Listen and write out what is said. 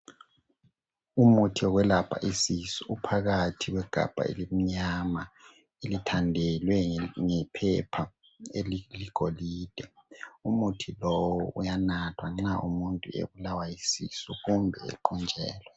Umuthi wokwelapha isisu uphakathi kwegabha elimnyama elithandelwe ngephepha eliligolide .Umuthi lowu uyanathwa nxa umuntu ebulawa yisisu kumbe equnjelwe .